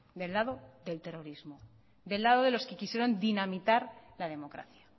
del lado del terrorismo del lado de los que quisieron dinamitar la democracia